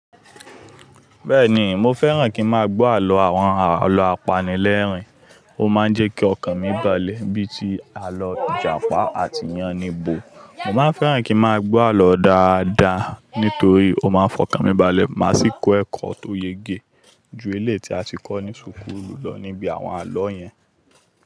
Bẹ́ẹ̀ni, mo fẹ́ràn kí n máa gbọ́ àlọ́ àwọn àlọ́ apanilẹ́rìn-ín, ó máa ń jẹ́ kí ọkàn mi balẹ̀ bí i tí àlọ́ Ìjàpá àti Yáníbo. Mo máa fẹ́ràn kí n máa gbọ́ àlọ́ dáadáa nítorí ó máa ń fọkàn mi balẹ̀ má sì kó ẹ̀kọ́ tó yege ju eléyi ti a ti kọ́ ni súkúlù lọ níbi àwọn àlọ́ yẹn.